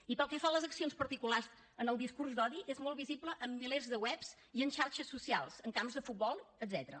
i pel que fa a les accions particulars en el discurs d’odi és molt visible en milers de webs i en xarxes socials en camps de futbol etcètera